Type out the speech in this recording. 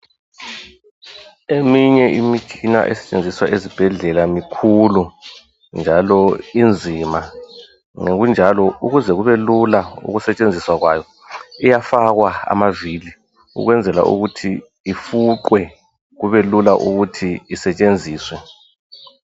Eminye imitshina esetshenziswa esibhedlela mikhulu njalo inzima, ngokunjalo ukuze kubelula ukusetshenziswa kwayo iyafakwa amavili ukwenzela ukuthi ifuqwe kubelula ukuthi isetshenziswe.